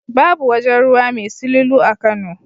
Babu wajen ruwa mai silulu a Kano.